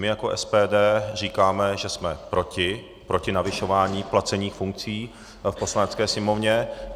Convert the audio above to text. My jako SPD říkáme, že jsme proti navyšování placených funkcí v Poslanecké sněmovně.